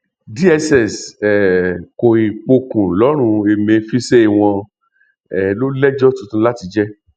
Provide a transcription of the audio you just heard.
dss um kòì pokùn lọrùn emefísé wọn um ló lẹjọ tuntun láti jẹ